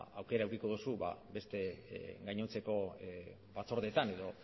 aukera edukiko dozu beste gainontzeko batzordeetan edo